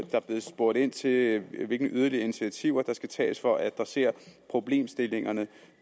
blevet spurgt ind til hvilke yderligere initiativer der skal tages for at adressere problemstillingerne